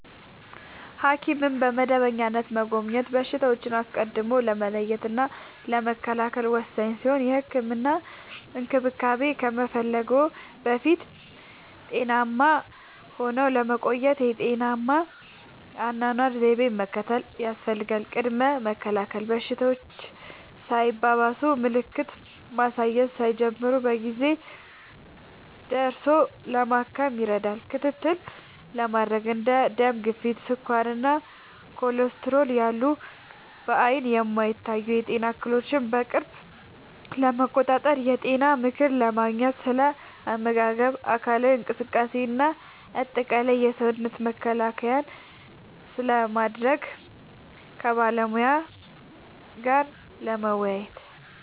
ሐኪምን በመደበኛነት መጎብኘት በሽታዎችን አስቀድሞ ለመለየትና ለመከላከል ወሳኝ ሲሆን፥ የህክምና እንክብካቤ ከመፈለግዎ በፊት ጤናማ ሆነው ለመቆየት ጤናማ የአኗኗር ዘይቤን መከተል ያስፈልጋል። ቅድመ መከላከል፦ በሽታዎች ሳይባባሱና ምልክት ማሳየት ሳይጀምሩ በጊዜ ደርሶ ለማከም ይረዳል። ክትትል ለማድረግ፦ እንደ ደም ግፊት፣ ስኳር እና ኮሌስትሮል ያሉ በዓይን የማይታዩ የጤና እክሎችን በቅርብ ለመቆጣጠር። የጤና ምክር ለማግኘት፦ ስለ አመጋገብ፣ አካላዊ እንቅስቃሴ እና አጠቃላይ የሰውነት መከላከያን ስለማሳደግ ከባለሙያ ጋር ለመወያየት።